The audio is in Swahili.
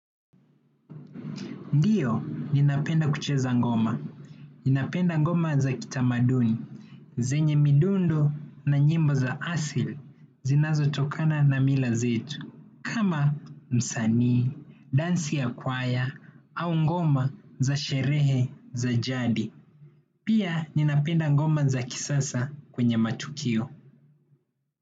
Ndio ninapenda kucheza ngoma, ninapenda ngoma za kitamaduni, zenye midundo na nyimbo za asili zinazo tokana na mila zetu, kama msanii, dansi ya kwaya, au ngoma za sherehe za jadi. Pia ninapenda ngoma za kisasa kwenye matukio.